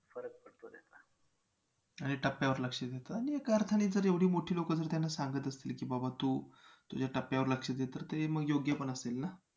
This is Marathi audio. आणि टप्प्यावर लक्ष दे तर एका अर्थाने जर एवढी मोठी लोकं जर त्यांना सांगत असतील की बाबा तू तुझ्या टप्प्यावर लक्ष दे तर ते मग योग्य पण असतील ना